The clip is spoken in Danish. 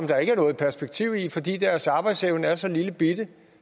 der ikke er noget perspektiv i fordi deres arbejdsevne er så lillebitte